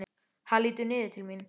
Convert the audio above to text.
Hann lítur niður til mín.